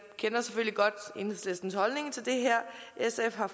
kender selvfølgelig godt enhedslistens holdning til det her sf har